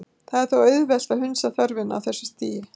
Það er þó auðvelt að hunsa þörfina á þessu stigi.